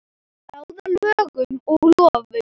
Að ráða lögum og lofum.